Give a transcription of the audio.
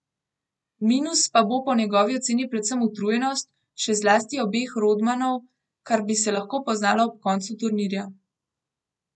Minus pa bo po njegovi oceni predvsem utrujenost, še zlasti obeh Rodmanov, kar bi se lahko poznalo ob koncu turnirja.